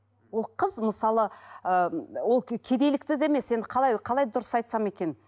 ол қыз мысалы ы ол кедейлікті де емес енді қалай дұрыс айтсам екен